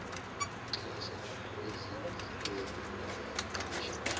ukuxhasa ezindlekweni zokuqasha